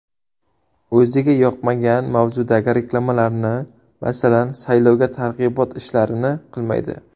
O‘ziga yoqmagan mavzudagi reklamalarni, masalan, saylovga targ‘ibot ishlarini qilmaydi.